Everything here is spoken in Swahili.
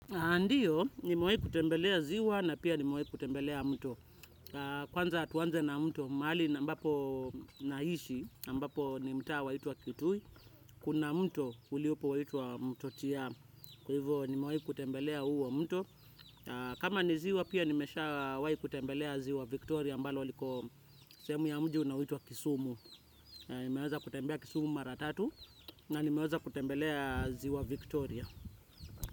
A ndiyo, nimawayi kutembelea ziwa na pia nimawayi kutembelea mto. Kwanza tuanze na mto, mahali na ambapo naishi, ambapo ni mtaa waitwa Kitui, kuna mto uliupo waitwa mto tia, kwa hivo nimewayi kutembelea huwo mto. Kama ni ziwa pia nimeshawai kutembelea ziwa Victoria ambalo liko sehemu ya mji unaoitwa Kisumu. Nimeweza kutembea Kisumu Maratatu na nimeweza kutembelea ziwa Victoria.